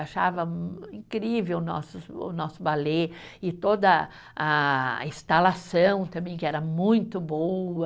Achava incrível nossos, o nosso balé e toda a instalação também, que era muito boa.